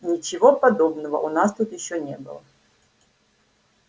ничего подобного у нас тут ещё не было